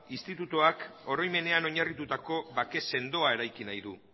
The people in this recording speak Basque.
institutuak oroimenean oinarritutako bake sendoa eraiki nahi du